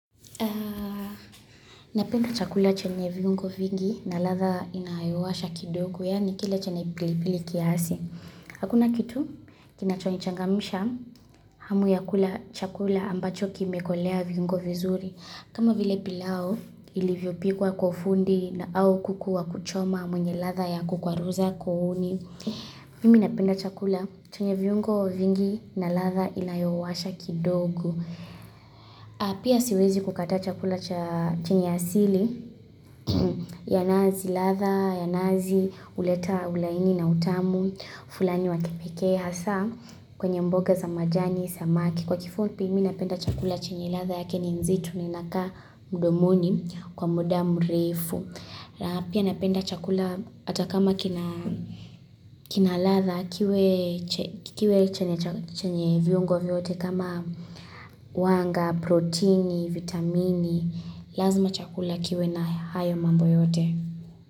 Napenda chakula chenye viungo vingi na ladha inayowasha kidogo yaani kile chenye pili pili kiasi. Hakuna kitu kinachonichangamsha hamu ya kula chakula ambacho kimekolea viungo vizuri. Kama vile pilau ilivyopikwa kwa ufundi na au kuku wa kuchoma mwenye ladha ya kukwaruza kuooni. Mimi na penda chakula chenye viungo vingi na ladha inayowasha kidogo. Apia siwezi kukataa chakula chenye asili Yanazi ladha, yanazi huleta ulaini na utamu fulani wa kipekee hasa kwenye mboga za majani samaki Kwa kifupi mii napenda chakula chenye ladha yake ni nzito na inakaa mdomoni kwa muda mrefu Apia napenda chakula atakama kina ladha kiwe chenye viungo vyote kama wanga, proteini, vitamini, lazima chakula kiwe na hayo mambo yote.